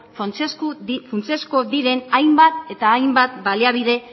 funtsezko diren hainbat eta hainbat baliabide